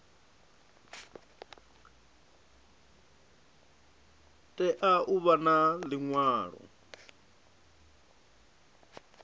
tea u vha na liṅwalo